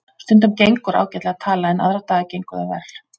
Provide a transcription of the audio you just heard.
Stundum gengur ágætlega að tala en aðra daga gengur það verr.